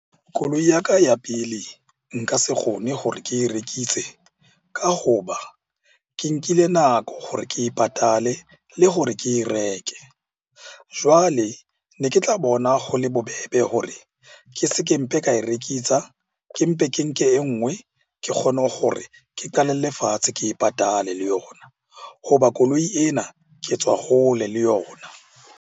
Koloi ya ka ya pele nka se kgone hore ke rekise ka ho ba ke nkile nako hore ke e patale le hore ke reke. Jwale ne ke tla bona ho le bobebe hore ke se ke mpe ka e rekisa, ke mpe ke nke e ngwe ke kgone hore ke qalelle fatshe ke e patale le yona. Ho ba koloi ena ke tswa hole le yona.